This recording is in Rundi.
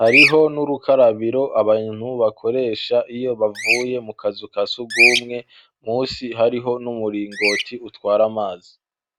hariho n'urukarabiro abantu bakoresha iyo bavuye mu kazu ka sugumwe musi hariho n'umuringoti utwara amazi